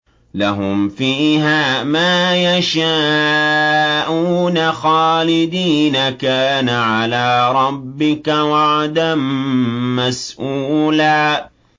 لَّهُمْ فِيهَا مَا يَشَاءُونَ خَالِدِينَ ۚ كَانَ عَلَىٰ رَبِّكَ وَعْدًا مَّسْئُولًا